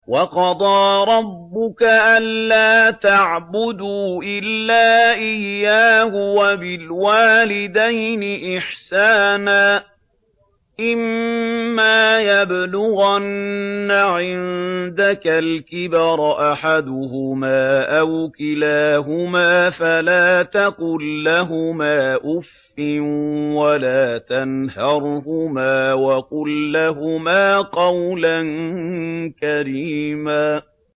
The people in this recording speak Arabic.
۞ وَقَضَىٰ رَبُّكَ أَلَّا تَعْبُدُوا إِلَّا إِيَّاهُ وَبِالْوَالِدَيْنِ إِحْسَانًا ۚ إِمَّا يَبْلُغَنَّ عِندَكَ الْكِبَرَ أَحَدُهُمَا أَوْ كِلَاهُمَا فَلَا تَقُل لَّهُمَا أُفٍّ وَلَا تَنْهَرْهُمَا وَقُل لَّهُمَا قَوْلًا كَرِيمًا